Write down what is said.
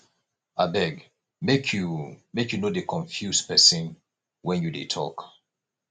abeg make you make you no dey confuse pesin wen you dey tok